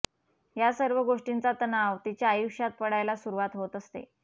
या सर्व गोष्टींचा तणाव तिच्या आयुष्यात पडायला सुरवात होत असते